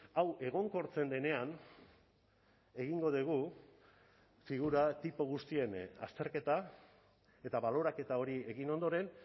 hau egonkortzen denean egingo dugu figura tipo guztien azterketa eta baloraketa hori egin ondoren